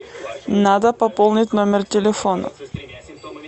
надо пополнить номер телефона